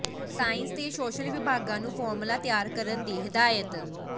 science ਤੇ social ਵਿਭਾਗਾਂ ਨੂੰ ਫਾਰਮੂਲਾ ਤਿਆਰ ਕਰਨ ਦੀ ਹਦਾਇਤ